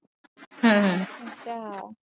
ਹਮ